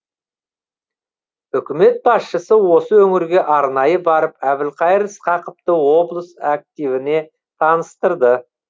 үкімет басшысы осы өңірге арнайы барып әбілқайыр сқақовты облыс активіне таныстырды